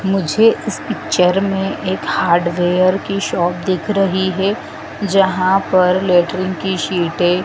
मुझे इस पिक्चर में एक हार्डवेयर की शॉप दिख रही है जहां पर लैट्रिन की शीटे --